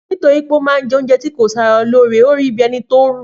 Nítorí pé ọ ma je ounjẹ ti kò saralóore orí bí ẹnití ọ rù